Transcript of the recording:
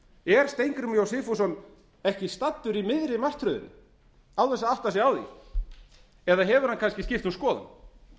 er steingrímur j sigfússon ekki staddur í miðri martröðinni án þess að átta sig á því eða hefur hann kannski skipt um skoðun